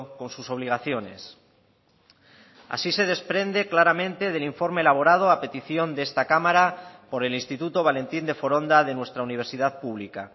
con sus obligaciones así se desprende claramente del informe elaborado a petición de esta cámara por el instituto valentín de foronda de nuestra universidad pública